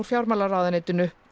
fjármálaráðuneytinu